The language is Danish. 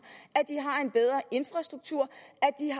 og infrastruktur